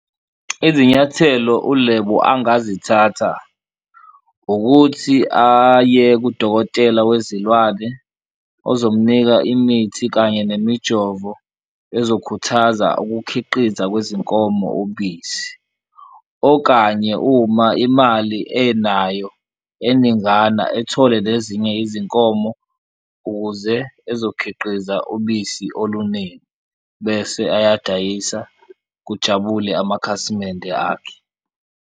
Izinyathelo uLebo angazithatha ukuthi aye kudokotela wezilwane ozomnika imithi kanye nemijovo ezokhuthaza ukukhiqiza kwezinkomo ubisi, okanye uma imali enayo eningana ethole nezinye izinkomo ukuze ezokhiqiza ubisi oluningi bese ayadayisa, kujabule amakhasimende akhe.